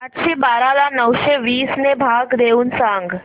आठशे बारा ला नऊशे वीस ने भाग देऊन सांग